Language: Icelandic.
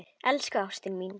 Elsku ástin mín.